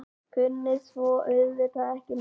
Kunni svo auðvitað ekki neitt.